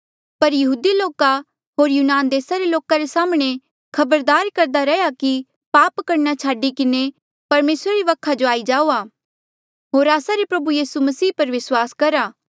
पर यहूदी लोका होर यूनान देसा रे लोका रे साम्हणें खबरदार करदा रैहया कि पाप करणा छाडी किन्हें परमेसरा री वखा जो आई जाऊआ होर आस्सा रे प्रभु यीसू मसीह पर विस्वास करहा